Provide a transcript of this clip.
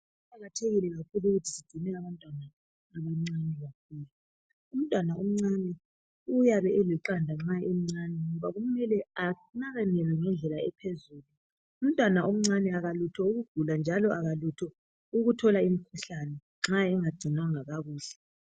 Kuqakathekile kakhulu ukuthi sigcine abantwana abancane bakhule umntwana omncane ayabe eliqanda ngoba kumele anakekelwe ngendlela ephezulu umntwana omncane akalutho ukugula njalo akalutho ukuthola imikhuhlane nxa engagcinwanga kakuhle.